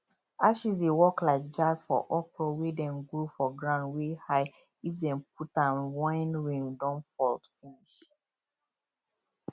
ashes dey work like jazz for okro wey dem grow for ground wey high if dem put am wen rain don fall finish